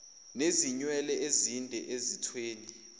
nezinwele ezinde ezithweni